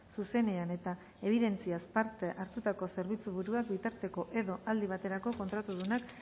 zuzenean eta ebidentziaz parte hartutako zerbitzuburuak bitarteko edo aldi bateko kontratudunak